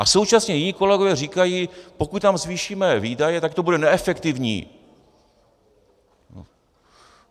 A současně jiní kolegové říkají: Pokud tam zvýšíme výdaje, tak to bude neefektivní.